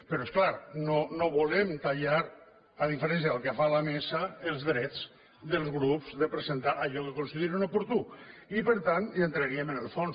però és clar no volem tallar a diferència del que fa la mesa els drets dels grups de presentar allò que considerin oportú i per tant hi entraríem en el fons